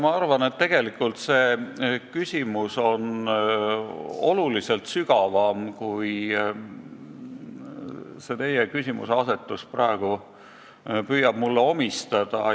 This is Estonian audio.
Ma arvan, et see küsimus on oluliselt sügavam, kui te oma küsimuseasetusega praegu püüate omistada.